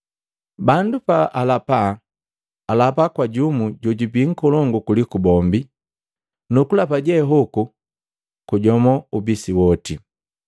Bandu pa alapa, alapa kwa jumu jojubii nkolongu kuliku bombi, nukulapa je hoku kujomo ubisi woti.